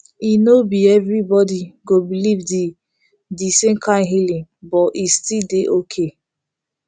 e no be everybody go believe the the same kind healing but e still dey okay